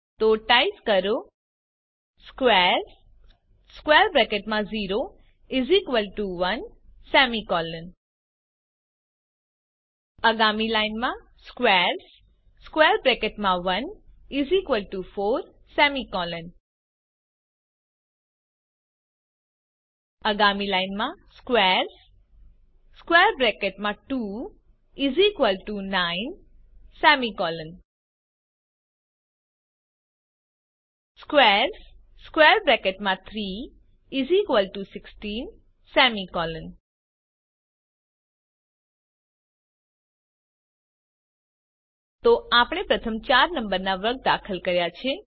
તો ટાઇપ કરો squares0 1 આગામી લાઈનમાં squares1 4 આગામી લાઈનમાંsquares2 9 squares3 16 તો આપણે પ્રથમ ચાર નંબરના વર્ગ દાખલ કર્યા છે